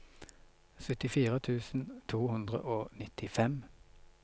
syttifire tusen to hundre og nittifem